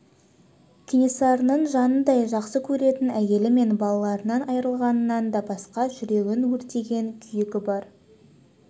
кенесарының жанындай жақсы көретін әйелі мен балаларынан айрылғанынан да басқа жүрегін өртеген күйігі бар